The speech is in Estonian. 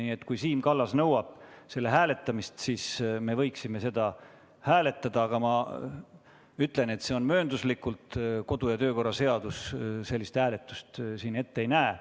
Nii et kui Siim Kallas nõuab selle ettepaneku hääletamist, siis me võiksime seda hääletada, aga ma ütlen, et see toimub mööndustega, sest kodu- ja töökorra seadus sellist hääletust ette ei näe.